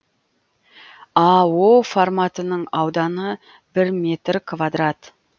а форматының ауданы бір метр квадрат